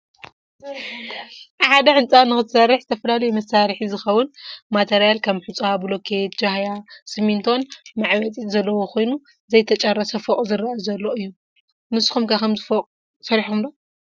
ሐደ ህንፃ ንክትሰርሕ ዝተፈላለዮ መሳርሕ ዝከውን ማተርያል ከም ሑፃ ፣ ቡልኬት ጃህያይ ሰምንቶ መዕበጢት ዘለዎ ከይኑ ዘይተጨረሰ ፎቅ ዝረአ ዘሎ አዮ ። ንስኩም ከ ከምዚ ፎቅ ሰርሕኩም ዶ ?